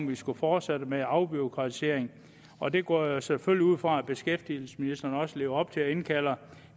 vi skulle fortsætte med afbureaukratiseringen og det går jeg selvfølgelig ud fra at beskæftigelsesministeren også lever op til at indkalder